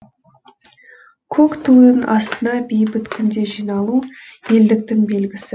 көк тудың астына бейбіт күнде жиналу елдіктің белгісі